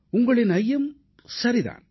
உங்களின் ஐயம் சரிதான்